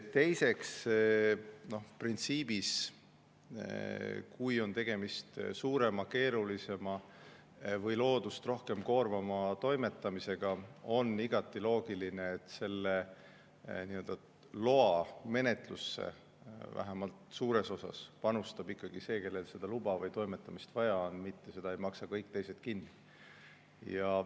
Teiseks, printsiibina, kui on tegemist suurema, keerulisema või loodust rohkem koormava toimetamisega, on igati loogiline, et loamenetlusse vähemalt suures osas panustab ikkagi see, kellel seda luba või toimetamist vaja on, mitte ei maksa kõik teised seda kinni.